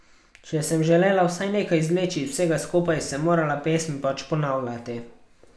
Če sem želela vsaj nekaj izvleči iz vsega skupaj, sem morala pesmi pač ponavljati.